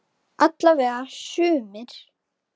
Alla vega sumir.